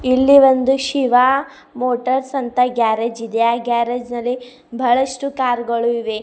ಇಲ್ಲಿ ಒಂದು ಶಿವ ಮೋಟರ್ಸ್ ಅಂತ ಗ್ಯಾರೇಜ್ ಇದೆ ಗ್ಯಾರೇಜ್ ನಲ್ಲಿ ಬಹಳಷ್ಟು ಕಾರು ಗಳು ಇವೆ.